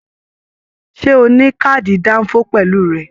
Ṣe o ni kaadi danfo pẹlú rẹ?